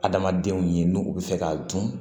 Adamadenw ye n'u u bɛ fɛ k'a dun